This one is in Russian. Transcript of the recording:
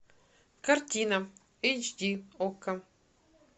картина эйч ди окко